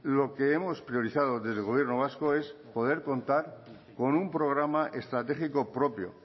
lo que hemos priorizado desde el gobierno vasco es poder contar con un programa estratégico propio